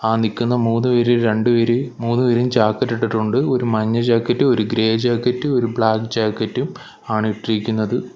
ആ നിൽക്കുന്ന മൂന്നുപേര് രണ്ടുപേര് മൂന്നുപേരും ജാക്കറ്റ് ഇട്ടിട്ടുണ്ട് ഒരു മഞ്ഞ ജാക്കറ്റ് ഒരു ഗ്രേ ജാക്കറ്റ് ഒരു ബ്ലാക്ക് ജാക്കറ്റും ആണ് ഇട്ടിരിക്കുന്നത്.